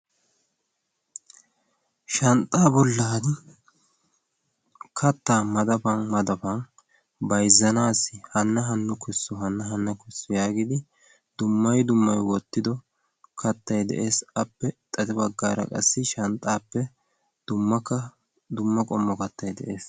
shanxxaa bollan kattaa madaban madaban bayzzanassi hana hano kessu , hana hano kessu yagiidi dumma dummay wottido kattay de'ees. appe xade baggaara qassi shanxxappe dummakka dumma qommo kattay de'ees.